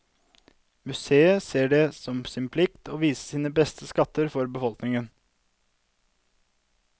Museet ser det som en plikt å vise sine beste skatter for befolkningen.